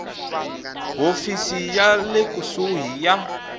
hofisi ya le kusuhi ya